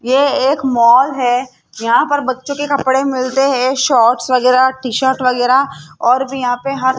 ये एक मॉल है यहां पर बच्चों के कपड़े मिलते है शॉर्ट्स वगैरा टी शर्ट वगैरा और भी यहां पे --